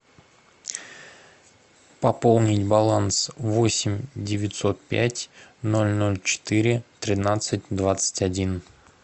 пополнить баланс восемь девятьсот пять ноль ноль четыре тринадцать двадцать один